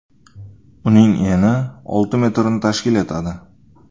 Uning eni olti metrni tashkil etadi.